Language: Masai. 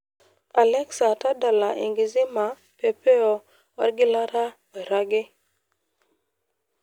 alexa tadala enkizima pepeo orgilata oiragi